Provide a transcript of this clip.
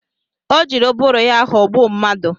Ọ jiri ụbụrụ ya ghọgbụ mmadụ